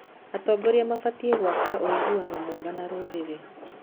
Atongoria mabatiĩ gwaka ũiguano mwega na rũrĩrĩ.